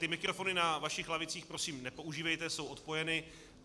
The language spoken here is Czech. Ty mikrofony na vašich lavicích prosím nepoužívejte, jsou odpojeny.